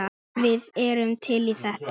Við erum til í þetta.